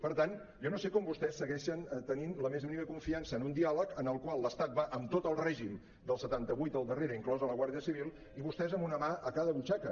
per tant jo no sé com vostès segueixen tenint la més mínima confiança en un diàleg en el qual l’estat va amb tot el règim del setanta vuit al darrere inclosa la guàrdia civil i vostès amb una mà a cada butxaca